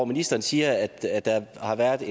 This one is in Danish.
ministeren siger at der har været